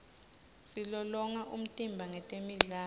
silolonga umtimba ngetemidlalo